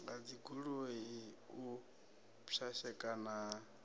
ha dzigoloi u pwashekana ha